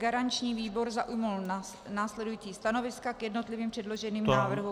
Garanční výbor zaujal následující stanoviska k jednotlivým předloženým návrhům -